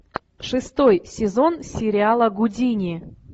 шестой сезон сериала гудини